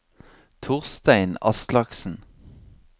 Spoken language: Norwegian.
Torstein Aslaksen